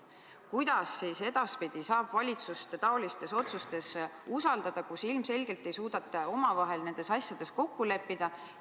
Kuidas siis edaspidi saab valitsust taolistes otsustes usaldada, kui ilmselgelt ei suudeta omavahel nendes asjades kokku leppida?